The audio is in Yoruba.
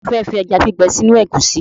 Ta ló fẹ́ fi ẹja gbígbẹ sínú ẹ̀gúsí?